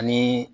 Ani